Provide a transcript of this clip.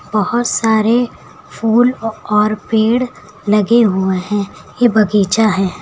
बहोत सारे फूल और पेड़ लगे हुए हैं ये बगीचा है।